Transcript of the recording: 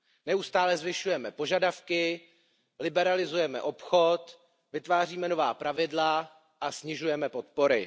Neustále zvyšujeme požadavky, liberalizujeme obchod, vytváříme nová pravidla a snižujeme podpory.